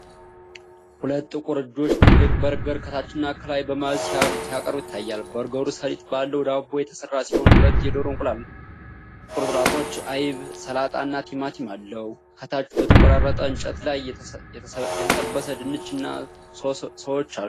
ሁለት ጥቁር እጆች ትልቅ በርገር ከታችና ከላይ በመያዝ ሲያቀርቡት ይታያል። በርገሩ ሰሊጥ ባለው ዳቦ የተሰራ ሲሆን፣ ሁለት የዶሮ እንቁላል ቁርጥራጮች፣ አይብ፣ ሰላጣ እና ቲማቲም አለው። ከታች በተቆራረጠ እንጨት ላይ የተጠበሰ ድንች እና ሶስዎች አሉ።